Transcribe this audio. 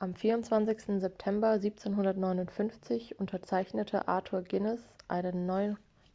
am 24 september 1759 unterzeichnete arthur guinness einen